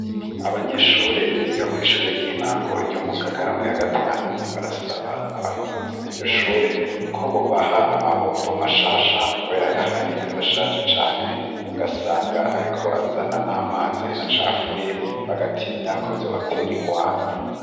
Abanyeshure biga kw'ishure ry'intango yo mu Ngagara muya gatanu barasaba abarongozi b'iryo shure ko bobaha amabombo mashasha kubera ayahari arashaje cane ugasanga ariko azana n'amazi acafuye bagatinya ko vyobatera ingwara.